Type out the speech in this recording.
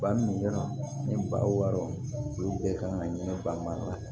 Ba ni yɔrɔ ni ba wɔɔrɔ olu bɛɛ kan ka ɲini ba ma